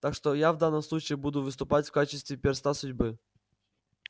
так что я в данном случае буду выступать в качестве перста судьбы